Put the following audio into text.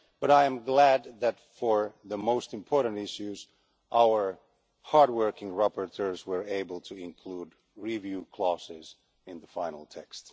But I am glad that, for the most important issues, our hard working rapporteurs were able to include review clauses in the final text.